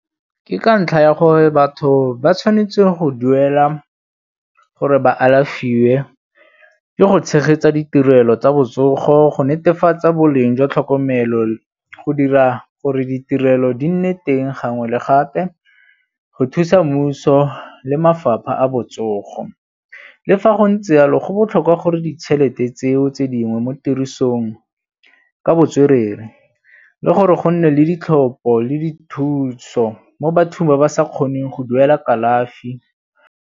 Ke ka ntlha ya gore batho ba tshwanetse go duela gore ba alafiwa tse di go tshegetsa ditirelo tsa botsogo go netefatsa boleng jwa tlhokomelo go dira gore ditirelo di nne teng gangwe le gape go thusa mmuso le mafapha a botsogo. Le fa go ntse yalo go botlhokwa gore ditšhelete tseo tse dingwe mo tirisong ka botswerere le gore go nne le ditlhopho le dithuso mo bathong ba ba sa kgoneng go duela kalafi.